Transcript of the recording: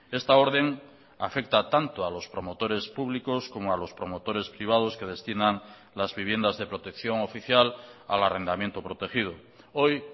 esta orden afecta tanto a los promotores públicos como a los promotores privados que destinan las viviendas de protección oficial al arrendamiento protegido hoy